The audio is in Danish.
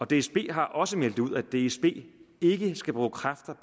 dsb har også meldt ud at dsb ikke skal bruge kræfter